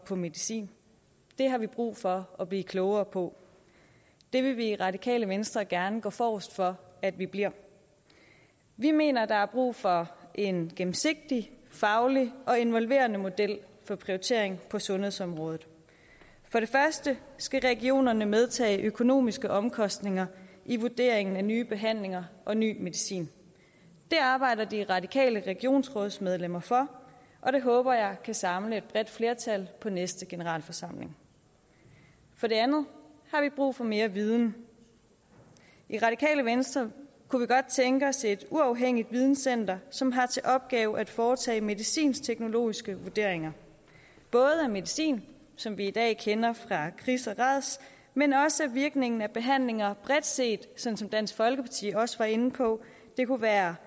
på medicin det har vi brug for at blive klogere på det vil vi i radikale venstre gerne gå forrest for at vi bliver vi mener at der er brug for en gennemsigtig faglig og involverende model for prioritering på sundhedsområdet for det første skal regionerne medtage økonomiske omkostninger i vurderingen af nye behandlinger og ny medicin det arbejder de radikale regionsrådsmedlemmer for og det håber jeg kan samle et bredt flertal på næste generalforsamling for det andet har vi brug for mere viden i radikale venstre kunne vi godt tænke os et uafhængigt videncenter som har til opgave at foretage medicinteknologiske vurderinger både af medicin som vi i dag kender det fra kris og rads men også af virkningen af behandlinger bredt set sådan som dansk folkeparti også var inde på det kunne være